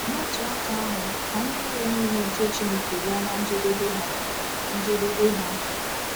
N’otu aka ahụ, ka ndị iro niile nke Chineke bịa ná njedebe ha! njedebe ha!